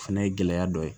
O fɛnɛ ye gɛlɛya dɔ ye